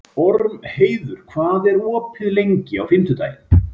Ormheiður, hvað er opið lengi á fimmtudaginn?